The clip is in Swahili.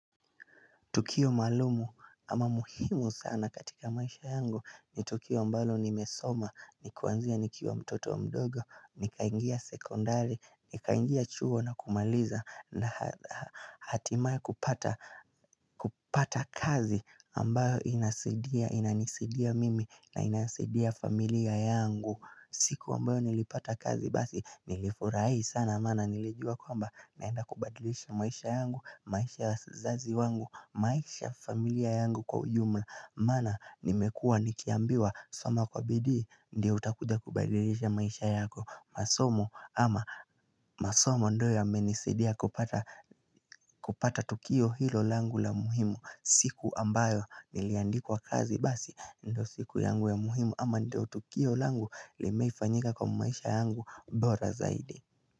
Tukio maalumu ama muhimu sana katika maisha yangu ni tukio mbalo nimesoma Nikuanzia nikiwa mtoto wa mdogo, nikaingia sekondari, nikaingia chuo na kumaliza na hatimae kupata kazi ambayo inasidia, inanisidia mimi na inasidia familia yangu siku ambayo nilipata kazi basi nilifurahi sana amana nilijua kwamba naenda kubadilisha maisha yangu, maisha ya zazi wangu, maisha familia yangu kwa ujumla Mana nimekua nikiambiwa soma kwa bidii, ndio utakuja kubadilisha maisha yako masomo ama masomo ndio yamenisadia kupata tukio hilo langu la muhimu siku ambayo niliandikwa kazi basi ndio siku yangu ya muhimu ama ndio tukio langu limeifanyika kwa maisha yangu bora zaidi.